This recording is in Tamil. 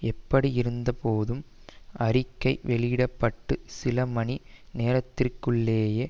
எப்படியிருந்தபோதும் அறிக்கை வெளியிட பட்டு சில மணி நேரத்திற்குள்ளேயே